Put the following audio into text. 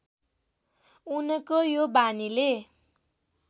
उनको यो बानीले